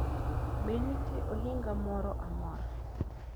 Be nitie ohinga moro amora